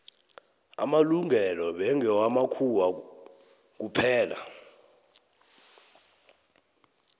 amalungelo bekngewa makhuwa kuphela